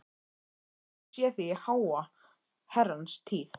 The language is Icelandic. Ég hef ekki séð þig í háa herrans tíð.